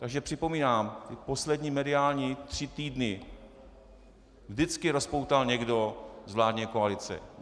Takže připomínám: Ty poslední mediální tři týdny vždycky rozpoutal někdo z vládní koalice.